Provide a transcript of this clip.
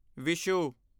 Vishu